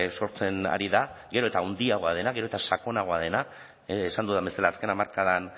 sortzen ari da gero eta handiagoa dena gero eta sakonagoa dena esan dudan bezala azken hamarkadan